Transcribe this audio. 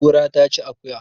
Kura ta ci akuya